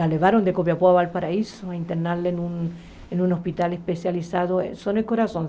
A levaram de Copiapó para Valparaíso, internar ela em um hospital especializado na Zona do Coração.